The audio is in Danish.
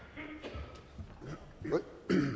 og med